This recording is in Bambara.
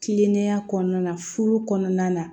Kilennenya kɔnɔna na furu kɔnɔna na